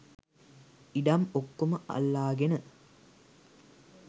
ඉඩම් ඔක්කොම අල්ලාගෙන.